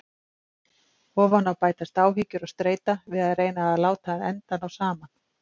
Ofan á bætast áhyggjur og streita við að reyna að láta enda ná saman.